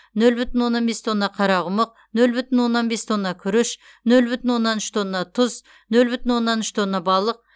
нөл бүтін оннан бес тонна қарақұмық нөл бүтін оннан бес тонна күріш нөл бүтін оннан үш тонна тұз нөл бүтін оннан үш тонна балық